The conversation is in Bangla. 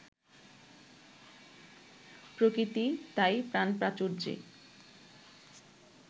প্রকৃতি তাই প্রাণপ্রাচুর্যে